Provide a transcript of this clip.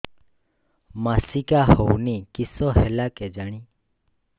ମାସିକା ହଉନି କିଶ ହେଲା କେଜାଣି